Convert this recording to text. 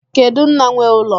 Kedu nna nwee ụlọ?